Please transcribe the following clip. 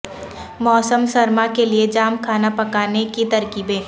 موسم سرما کے لئے جام کھانا پکانے کی ترکیبیں